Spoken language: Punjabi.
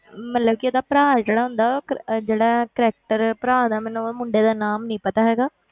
ਮਤਲਬ ਕਿ ਇਹਦਾ ਭਰਾ ਜਿਹੜਾ ਹੁੰਦਾ ਉਹ ਕ~ ਜਿਹੜਾ character ਭਰਾ ਦਾ ਮੈਨੂੰ ਉਹ ਮੁੰਡੇ ਦਾ ਨਾਮ ਨੀ ਪਤਾ ਹੈਗਾ,